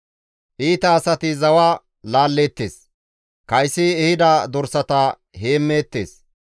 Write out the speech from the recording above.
Iita asati zawa laalleettes; kaysi ehida dorsata heemmeettes.